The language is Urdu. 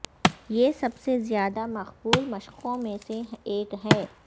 یہ سب سے زیادہ مقبول مشقوں میں سے ایک ہے